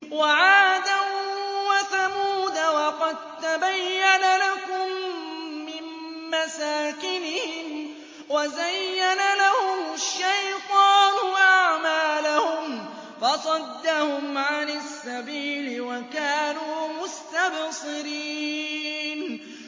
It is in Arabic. وَعَادًا وَثَمُودَ وَقَد تَّبَيَّنَ لَكُم مِّن مَّسَاكِنِهِمْ ۖ وَزَيَّنَ لَهُمُ الشَّيْطَانُ أَعْمَالَهُمْ فَصَدَّهُمْ عَنِ السَّبِيلِ وَكَانُوا مُسْتَبْصِرِينَ